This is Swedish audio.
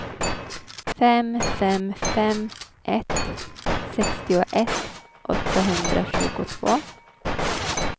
fem fem fem ett sextioett åttahundratjugotvå